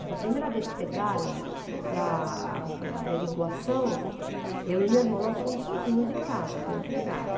Então, a primeira vez que pegaram-na para para averiguação, eu e meu irmão, nós ficamos sozinhos em casa, com a empregada.